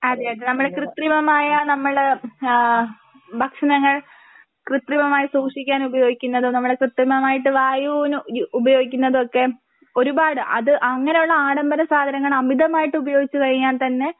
അതേ അതേ നമ്മള് കൃത്രിമമായ നമ്മള് ഏഹ് ഭക്ഷണങ്ങൾ കൃത്രിമമായി സൂക്ഷിക്കാൻ ഉപയോഗിക്കുന്നത് നമ്മള് കൃത്യമായിട്ട് വായുവിന് യു ഉപയോഗിക്കുന്നതെക്കെ ഒരുപാട് അത് അങ്ങനെയുള്ള ആഡംബര സാധനങ്ങൾ അമിതമായിട്ട് ഉപയോഗിച്ച് കഴിഞ്ഞാൽ തന്നെ